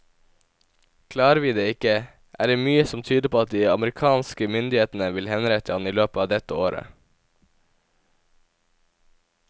Klarer vi det ikke, er det mye som tyder på at de amerikanske myndighetene vil henrette ham i løpet av dette året.